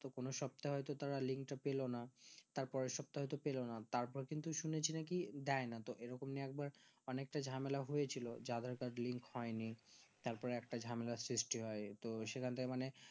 তো কোনো সপ্তাহে তো তারা link তা পেলো না তার পরের সপ্তাহে তো পেলো না তাদের কিন্তু শুনেছি নাকি দেয়না তো এই রকমই এক বার অনেকটা ঝামেলা হয়েছিল যে aadhar card link হয়নি তারপর একটা ঝামেলা সৃষ্টি হয় তো সে খানকার মানে